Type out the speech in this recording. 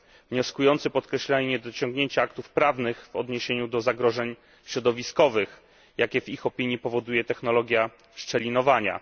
Wnioskujący podkreślają niedociągnięcia aktów prawnych w odniesieniu do zagrożeń środowiskowych, jakie w ich opinii powoduje technologia szczelinowania.